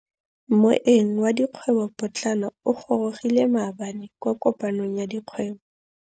Moêng wa dikgwêbô pôtlana o gorogile maabane kwa kopanong ya dikgwêbô.